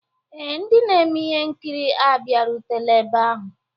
Ee, ndị na-eme ihe nkiri abịarutela ebe ahụ